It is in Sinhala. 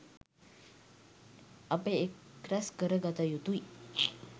අප එක් රැස් කර ගත යුතුයි.